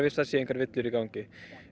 það séu engar villur í gangi